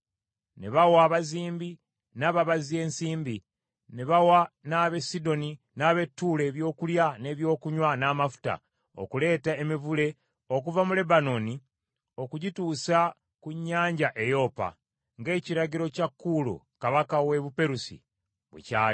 Ne bawa abazimbi n’ababazzi ensimbi, ne bawa n’ab’e Sidoni n’ab’e Tuulo ebyokulya n’ebyokunywa n’amafuta, okuleeta emivule okuva mu Lebanooni okugituusa ku nnyanja e Yopa, ng’ekiragiro kya Kuulo kabaka w’e Buperusi bwe kyali.